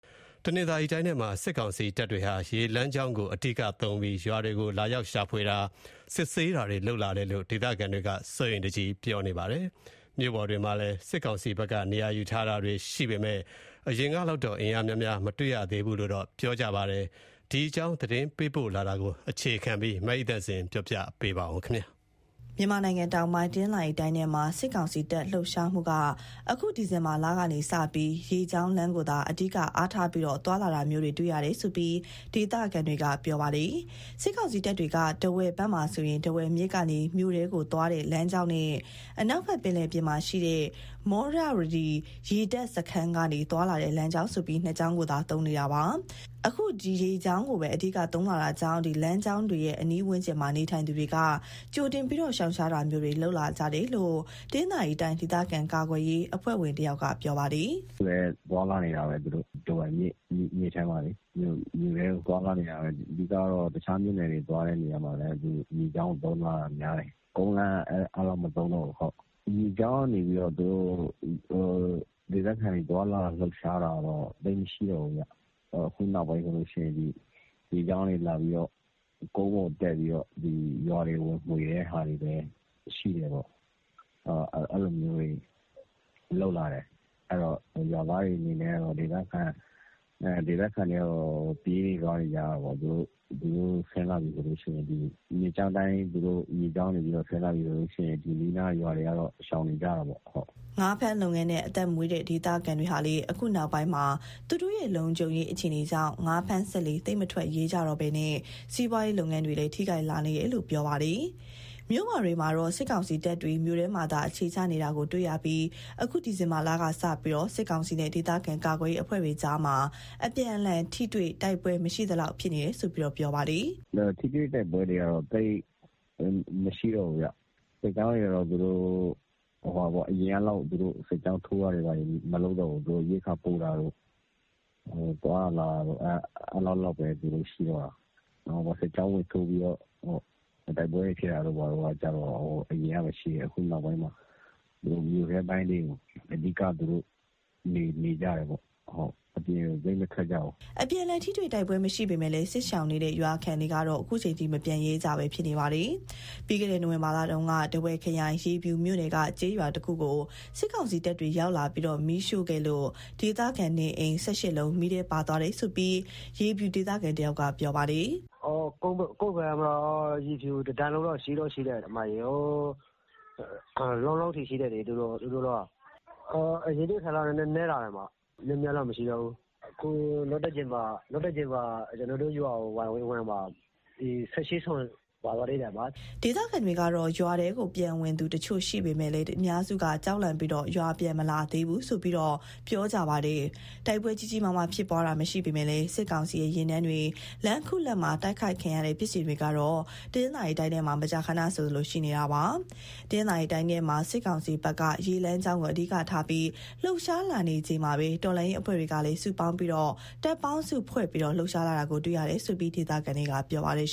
တနင်္သာရီတိုင်းထဲမှာ စစ်ကောင်စီတပ်တွေဟာ ရေလမ်းကြောင်းကို အဓိကသုံးပြီး ရွာတွေကို လာရောက် ရှာဖွေတာ စစ်ဆေးတာတွေ လုပ်လာတယ်လို့ ဒေသခံတွေက ပြောပါတယ်။ မြို့ပေါ်တွေမှာလည်း စစ်ကောင်စီဘက်က နေရာယူထားတာတွေ ရှိပေမယ့် အရင်ကလောက်တော့ အင်အားများများ မတွေ့ရတော့ဘူးလို့ ပြောပါတယ်။ ဒီအကြောင်း သတင်းပေးပို့ထားတာကို မအိသန့်စင်က ပြောပြမှာပါ။ မြန်မာနိုင်ငံတောင်ပိုင်း၊ တနင်္သာရီတိုင်းထဲမှာ စစ်ကောင်စီတပ် လှုပ်ရှားမှုဟာ အခုဒီဇင်ဘာလကနေစပြီး ရေလမ်းကြောင်းကိုသာ အဓိကအားထားပြီး သွားလာတာမျိုး တွေ့ရတယ်လို့ ဒေသခံတွေက ပြောပါတယ်။ စစ်ကောင်စီတပ်တွေဟာ ထားဝယ်ဘက်မှာဆို ထားဝယ်မြစ်ကနေ မြို့ထဲကိုသွားတဲ့ လမ်းကြောင်းနဲ့ အနောက်ဘက် ပင်လယ်ပြင်မှာရှိတဲ့ မောရဝတီ ရေတပ်စခန်းကနေ သွားလာတဲ့ လမ်းကြောင်းဆိုပြီး ၂ ကြောင်းကို သာသုံးနေတာပါ။ အခု ရေကြောင်းကိုပဲ အဓိကသုံးလာတာကြောင့် ဒီလမ်းကြောင်းတွေရဲ့ အနီးဝန်းကျင်မှာ နေထိုင်သူတွေဟာ ကြိုတင်ပြီး ရှောင်ရှားတာမျိုးတွေ လုပ်လာကြတယ်လို့ တနင်္သာရီတိုင်း ဒေသခံကာကွယ်ရေး အဖွဲ့ဝင်တဦးက ပြောပါတယ်။ "အခုလည်း ထားဝယ်မြစ်ထဲကနေ မြို့ထဲကို သူတို့သွားလာနေတာပဲ။ အဓိကတော့ တခြားမြို့နယ်တွေ သွားတဲ့နေရာမှာလည်း ရေကြောင်းကို သုံးလာတာများတယ်။ ကုန်းလမ်းက အဲလောက်မသုံးတော့ဘူး။ ရေကြောင်းကနေ ဒေသခံတွေ သွားလာလှုပ်ရှားတာတော့ သိပ်မရှိတော့ဘူးဗျ။ အခုနောက်ပိုင်းဆိုရင် ရေကြောင်းကနေ လာပြီးတော့ ကုန်းပေါ်တက်ပြီး ရွာတွေ ဝင်မွှေတာ ရှိတယ်ပေါ့။ အဲလိုမျိုးတွေ လုပ်လာတယ်။ အဲတော့ ရွာသားတွေ အနေနဲ့ကတော့ ဒေသခံတွေကတော့ ပြေးလွှားနေကြရတာပေါ့။ မြစ်ကြောင်းအတိုင်း ရေကြောင်းကနေ သူတို့ဆင်းလာပြီဆိုရင် အနီးအနားက ရွာတွေကတော့ ရှောင်နေကြရတာပေါ့။" ငါးဖမ်းလုပ်ငန်းနဲ့ အသက်မွေးတဲ့ ဒေသခံတွေဟာလည်း အခုနောက်ပိုင်းမှာ သူတို့ရဲ့ လုံခြုံရေး အခြေအနေကြောင့် ငါးဖမ်းစက်လှေ သိပ်မထွက်ရဲကြတော့ပဲ စီးပွါးရေးလုပ်ငန်းတွေလည်း ထိခိုက်လာနေတယ်လို့ ပြောပါတယ်။ မြို့ပေါ်တွေမှာတော့ စစ်ကောင်စီတပ်တွေ မြို့ထဲမှာသာ အခြေချနေတာ တွေ့ရပြီး အခု ဒီဇင်ဘာလကစပြီး စစ်ကောင်စီနဲ့ ဒေသခံကာကွယ်ရေး အဖွဲ့တွေကြားမှာ အပြန်အလှန် ထိတွေ့တိုက်ပွဲ မရှိ သလောက် ဖြစ်တယ်လို့ လည်း ပြောပါတယ်။ "ထိတွေ့တိုက်ပွဲတွေကတော့ သိပ်မရှိတော့ဘူးဗျ။ စစ်ကြောင်းတွေက အရင်ကလောက် သူတို့စစ်ကြောင်းထိုးတာ မလုပ်တော့ဘူး။ သူတို့ရိက္ခာပို့တာတို့၊ သွားတာလာတာတို့ အဲဒီလောက်ပဲ သူတို့ရှိတော့တာ။ ရွာမှာ စစ်ကြောင်းထိုးပြီး တိုက်ပွဲဖြစ်တာက အရင်ကပဲရှိတယ်။ အခုနောက်ပိုင်းမှာ မြို့ထဲပိုင်းတွေမှာ အဓိက သူတို့နေကြတယ်ပေါ့။ အပြင်ကို သိပ်မထွက်ကြဘူး။" အပြန်အလှန် ထိတွေ့တိုက်ပွဲ မရှိပေမယ့် စစ်ရှောင်နေကြတဲ့ ရွာခံတွေကတော့ အခုချိန်ထိ မပြန်ရဲကြသေးပါဘူး။ ပြီးခဲ့တဲ့ နိုဝင်ဘာလတုန်းက ထားဝယ်ခရိုင်၊ ရေဖြူမြို့နယ်က ကျေးရွာတခုကို စစ်ကောင်စီတပ်တွေ ရောက်လာပြီး မီးရှို့ခဲ့လို့ ဒေသခံနေအိမ် ၁၈ လုံး မီးထဲပါသွားတယ်လို့ ရေဖြူဒေသခံတဦးက ပြောပါတယ်။ "ကုန်းလမ်းကြောင်းမှာ သူတို့ တွေ ရေဖြူကနေ လောင်းလုံးအထိ ရှိတယ်။ အရင်ထက်စာရင်တော့ သူတို့အင်အား နည်းသွားတယ်၊ များများတော့ မရှိတော့ဘူး။ ကျနော်တို့ရွာကို နောက်တကြိမ် ဝင်သွားတုန်းက နေအိမ် ၁၈ လုံး မီးထဲပါသွားသေးတယ်။" ဒေသခံတွေကတော့ ရွာထဲပြန်ဝင်သူတချို့ ရှိပေမယ့် အများစုက ကြောက်လန့်ပြီး ရွာပြန်မလာသေးဘူးလို့ ပြောပါတယ်။ တိုက်ပွဲကြီးကြီးမားမား ဖြစ်ပွားတာ မရှိပေမယ့် စစ်ကောင်စီရဲ့ ယာဉ်တန်းတွေ လမ်းခုလတ်မှာ တိုက်ခိုက်ခံရတဲ့ ဖြစ်စဉ်တွေကတော့ တနင်္သာရီတိုင်းထဲမှာ မကြာခဏဆိုသလို ရှိနေတာပါ။ တနင်္သာရီတိုင်းထဲမှာ စစ်ကောင်စီဘက်က ရေလမ်းကြောင်းကို အဓိကထားပြီး လှုပ်ရှားလာနေချိန်မှာပဲ တော်လှန်ရေးအဖွဲ့တွေ ကလည်း စုပေါင်းပြီး တပ်ပေါင်းစုဖွဲ့ လှုပ်ရှားလာတာ တွေ့ရတယ်လို့ ဒေသခံတွေက ပြောပါတယ်